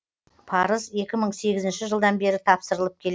парыз екі мың сегізінші жылдан бері тапсырылып келеді